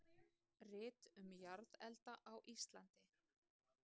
Rit um jarðelda á Íslandi.